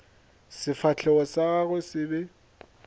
sefahlego sa gagwe se be